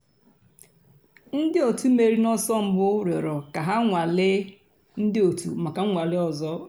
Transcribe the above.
ǹdí ọ̀tù mèrìrì n'ọ̀sọ̀ mbù rị̀ọrọ̀ kà hà gbànwèè ńdí ọ̀tù mǎká nnwàlè òzò.